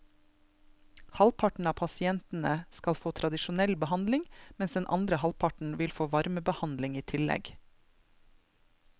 Halvparten av pasientene skal få tradisjonell behandling, mens den andre halvparten vil få varmebehandling i tillegg.